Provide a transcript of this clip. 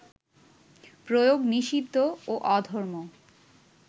প্রয়োগ নিষিদ্ধ ও অধর্ম